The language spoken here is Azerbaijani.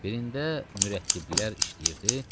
Birində mürəttiblər işləyirdi.